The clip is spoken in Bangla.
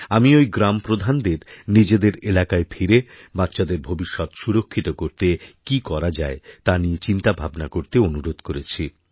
আমি ওইগ্রামপ্রধানদের নিজেদের এলাকায় ফিরে বাচ্চাদের ভবিষ্যৎ সুরক্ষিত করতে কী করা যায়তা নিয়ে চিন্তাভাবনা করতে অনুরোধ করেছি